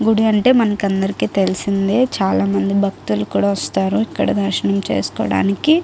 గుడి అంటే మనకి అందరికీ తెలిసిందే చాలా మంది భక్తులు కూడా వస్తారు ఇక్కడ దర్శనం చేసుకోడానికి.